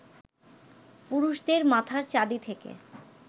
পুরুষদের মাথার চাঁদি থেকে